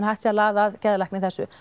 hægt sé að laða að geðlækni í þessu